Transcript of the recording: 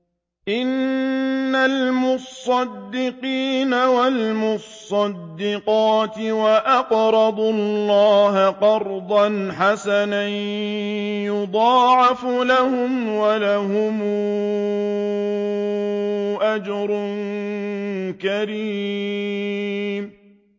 إِنَّ الْمُصَّدِّقِينَ وَالْمُصَّدِّقَاتِ وَأَقْرَضُوا اللَّهَ قَرْضًا حَسَنًا يُضَاعَفُ لَهُمْ وَلَهُمْ أَجْرٌ كَرِيمٌ